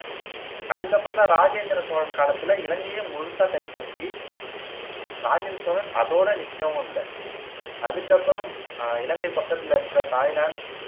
அதுக்கப்புறம் தான் ராஜேந்திர சோழன் காலத்தில இலங்கையையே முழுசா கைப்பத்தி ராஜேந்திர சோழன் அதோட நிக்கவும் இல்ல அதுக்கப்புறம் அஹ் இலங்கை பக்கத்தில இருக்கிற தாய்லாந்து,